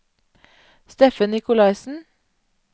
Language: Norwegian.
Steffen Nicolaysen